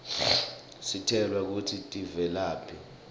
sitjelwa kutsi tivelaphi